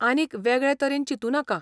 आनीक वेगळें तरेन चिंतू नाका.